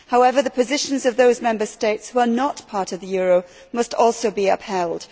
However, the positions of those Member States who are not part of the euro must also be upheld.